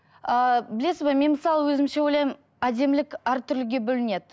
ыыы білесіз бе мен мысалы өзімше ойлаймын әдемілік әртүрліге бөлінеді